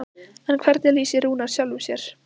En hvernig lýsir Rúnar sjálfum sér?